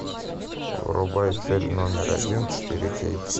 врубай цель номер один четыре кей